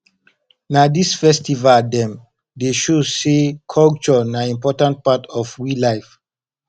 na dis festival dem dey show sey culture na important part of we life